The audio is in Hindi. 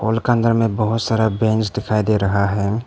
हॉल के अंदर में बहुत सारा बेंच दिखाई दे रहा है।